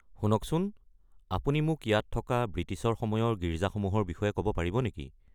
শুনকচোন, আপুনি মোক ইয়াত থকা বৃটিছৰ সময়ৰ গীৰ্জাসমূহৰ বিষয়ে ক'ব পাৰিব নেকি?